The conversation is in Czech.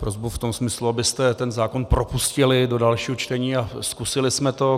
Prosbu v tom smyslu, abyste ten zákon propustili do dalšího čtení a zkusili jsme to.